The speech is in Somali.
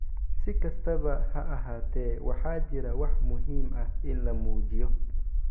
Si kastaba ha ahaatee, waxaa jira wax muhiim ah in la muujiyo.